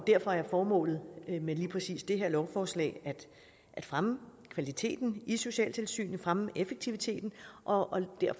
derfor er formålet med lige præcis det her lovforslag at fremme kvaliteten i socialtilsynene fremme effektiviteten og